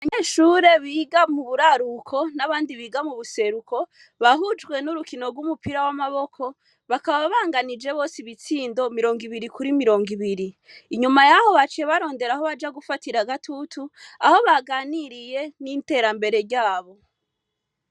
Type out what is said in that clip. Banyeshure biga mu buraruko n'abandi biga mu buseruko bahujwe n'urukino rw'umupira w'amaboko bakababanganije bose ibitsindo mirongo ibiri kuri mirongo ibiri inyuma yaho baciye barondera aho baja gufatira agatutu aho baganiriye n'interambere ryabo.